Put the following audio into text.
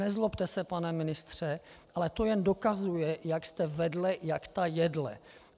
Nezlobte se, pane ministře, ale to jen dokazuje, jak jste vedle jak ta jedle.